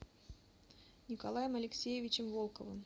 николаем алексеевичем волковым